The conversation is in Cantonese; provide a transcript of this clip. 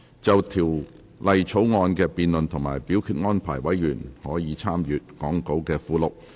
就條例草案的辯論及表決安排，委員可參閱講稿附錄。